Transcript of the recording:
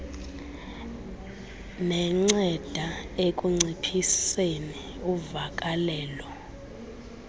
nenceda ekunciphiseni uvakalelo